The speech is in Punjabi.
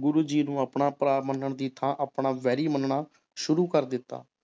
ਗੁਰੂ ਜੀ ਨੂੰ ਆਪਣਾ ਭਰਾ ਮੰਨਣ ਦੀ ਥਾਂ ਆਪਣਾ ਵੈਰੀ ਮੰਨਣਾ ਸ਼ੁਰੂ ਕਰ ਦਿੱਤਾ।